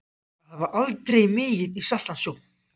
Að hafa aldrei migið í saltan sjó